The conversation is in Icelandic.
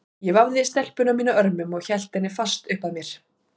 Ég vafði stelpuna mína örmum og hélt henni fast upp að mér.